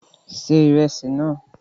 Se ìrẹsì náà!